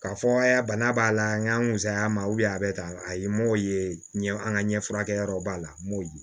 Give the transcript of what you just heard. K'a fɔ aa bana b'a la an ka musaya ma a bɛ tan a ye n m'o ye ɲɛ an ka ɲɛfurakɛ yɔrɔ b'a la n b'o di